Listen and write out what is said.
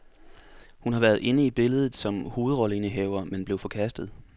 Hun har været inde i billedet som hovedrolleindehaver, men blev forkastet.